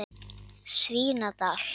Svínadal